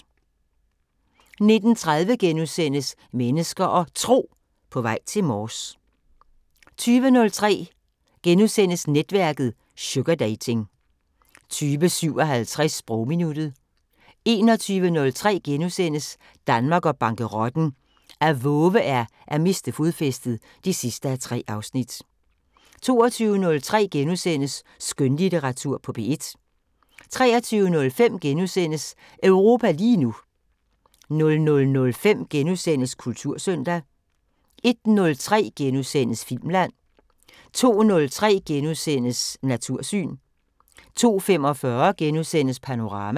19:30: Mennesker og Tro: På vej til Mors * 20:03: Netværket: Sugardating * 20:57: Sprogminuttet 21:03: Danmark og bankerotten: At vove er at miste fodfæstet (3:3)* 22:03: Skønlitteratur på P1 * 23:05: Europa lige nu * 00:05: Kultursøndag * 01:03: Filmland * 02:03: Natursyn * 02:45: Panorama *